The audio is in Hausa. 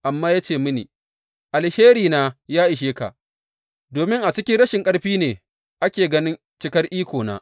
Amma ya ce mini, Alherina ya ishe ka, domin a cikin rashin ƙarfi ne ake ganin cikar ikona.